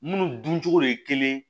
Munnu duncogo de ye kelen